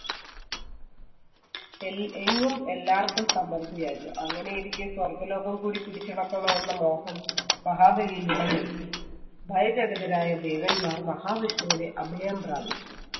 L~ എങ്ങും എല്ലാർക്കും സമൃദ്ധിയായിരുന്നു. അങ്ങനെയിരിക്കെ സ്വർഗ്ഗലോകം കൂടി പിടിച്ചടക്കണമെന്ന മോഹം മഹാബലിയിൽ ഉടലെടുത്തു. ഭയചകിതരായ ദേവന്മാർ മഹാവിഷ്ണുവിനെ അഭയം പ്രാപിച്ചു.